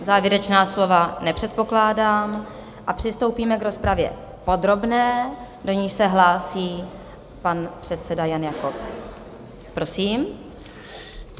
Závěrečná slova nepředpokládám a přistoupíme k rozpravě podrobné, do níž se hlásí pan předseda Jan Jakob, prosím.